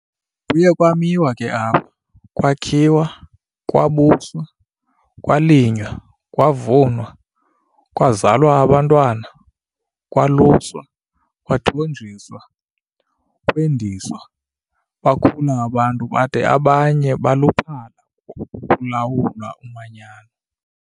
Kuye kwamiwa ke apha, kwakhiwa, kwabuswa, kwalinywa, kwavunwa, kwazalwa abantwana, kwaluswa, kwathonjiswa, kwendiswa, bakhula abantu bada abanye baluphala kulawula umanyano.